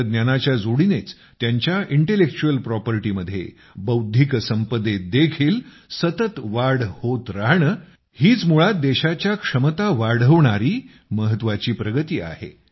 तंत्रज्ञानाच्या जोडीनेच त्यांच्या इंटेलेक्चुअल प्रॉपर्टी मध्ये बौद्धिक संपदेत देखील सतत वाढ होत राहणे हीच मुळात देशाच्या क्षमता वाढवणारी महत्त्वाची प्रगती आहे